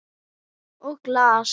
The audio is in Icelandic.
Og glas.